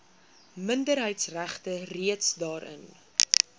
minderheidsregte reeds daarin